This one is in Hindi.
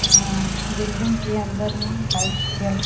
और बिल्डिंग के अंदर में --